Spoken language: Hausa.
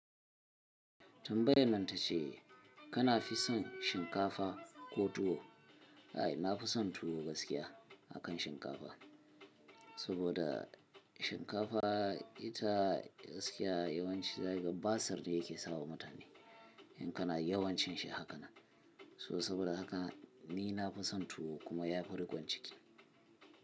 Tambaya nan ta ce kana fi son shinkafa ko tuwo? Ai, na fi son tuwo gaskiya akan shinkafa. Saboda shinkafa ita gaskiya yawanci zaiga basar ne yake sawa mutane in kana yawancin shi hakanan. So saboda haka ni na fi son tuwo kuma ya fi riƙon ciki.